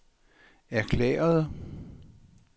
erklærede